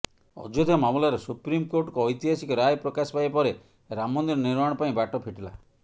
ଅଯୋଧ୍ୟା ମାମଲାରେ ସୁପ୍ରିମକୋର୍ଟଙ୍କ ଐତିହାସିକ ରାୟ ପ୍ରକାଶ ପାଇବା ପରେ ରାମ ମନ୍ଦିର ନିର୍ମାଣ ପାଇଁ ବାଟ ଫିଟିଲା